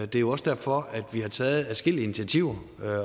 det er jo også derfor at vi har taget adskillige initiativer